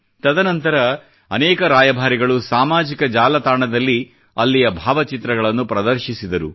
ತದನಂತರ ಅನೇಕ ರಾಯಭಾರಿಗಳು ಸಾಮಾಜಿಕ ಜಾಲತಾಣದಲ್ಲಿ ಅಲ್ಲಿಯ ಭಾವ ಚಿತ್ರಗಳನ್ನು ಪ್ರದರ್ಶಿಸಿದರು